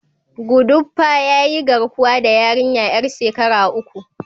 Gudopwa ya yi garkuwa da yarinyar yar shekara uku.